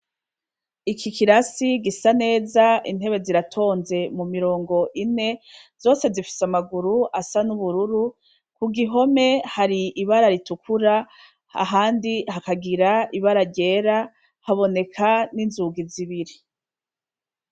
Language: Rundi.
Iki kirasi gisa neza intebe ziratonze mu mirongo ine, zose zifise amaguru asa n'ubururu, ku gihome hari ibara ritukura ahandi hakagira ibara ryera haboneka n'inzugi zibiri.